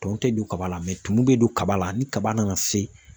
Tɔn te don kaba la mɛ tumu be don kaba la ni kaba nana se